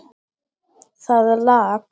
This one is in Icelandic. Það lak.